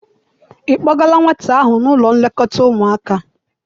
I kpọgala nwata ahụ n'ụlọ nlekọta ụmụaka?